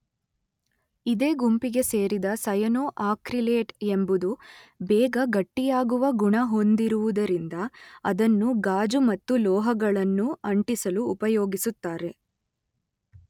ಇದೇ ಗುಂಪಿಗೆ ಸೇರಿದ ಸಯನೊ ಅಕ್ರಿಲೇಟ್ ಎಂಬುದು ಬೇಗ ಗಟ್ಟಿಯಾಗುವ ಗುಣ ಹೊಂದಿರುವುದರಿಂದ ಅದನ್ನು ಗಾಜು ಮತ್ತು ಲೋಹಗಳನ್ನು ಅಂಟಿಸಲು ಉಪಯೋಗಿಸುತ್ತಾರೆ.